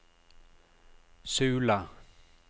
Sula